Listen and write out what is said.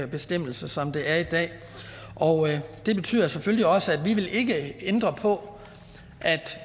bestemmelse som det er i dag det betyder selvfølgelig også at vi ikke vil ændre på at